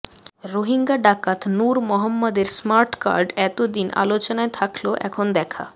রোহিঙ্গা ডাকাত নুর মোহাম্মদের স্মার্টকার্ড এতদিন আলোচনায় থাকলেও এখন দেখা